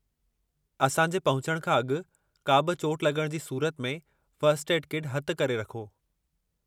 असां जे पहुचण खां अॻु का बि चोटु लग॒णु जी सूरत में फ़र्स्ट एड किट हथ करे रखो।